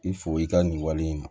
I fo i ka nin wale in ma